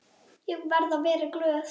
Ég verði að vera glöð.